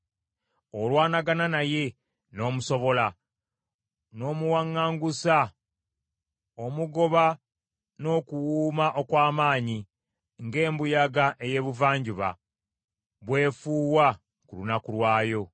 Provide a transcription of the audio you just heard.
Olwanagana naye n’omusobola, n’omuwaŋŋangusa, omugoba n’okuwuuma okw’amaanyi, ng’embuyaga ey’ebuvanjuba bw’efuuwa ku lunaku lwayo.